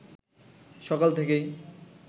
সকাল থেকেই